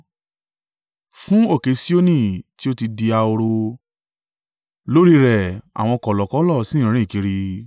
Fún òkè Sioni tí ó ti di ahoro lórí rẹ̀ àwọn kọ̀lọ̀kọ̀lọ̀ sì ń rìn kiri.